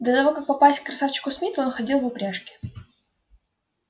до того как попасть к красавчику смиту он ходил в упряжке